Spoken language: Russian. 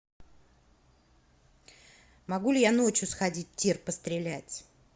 могу ли я ночью сходить в тир пострелять